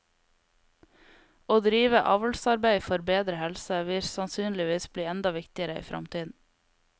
Å drive avlsarbeid for bedre helse vil sannsynligvis bli enda viktigere i fremtiden.